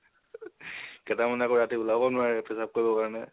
কেতেমানে আকৌ ৰাতি উলাব নোৱাৰে, পেচাপ কৰিব কাৰণে